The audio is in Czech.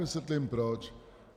Vysvětlím proč.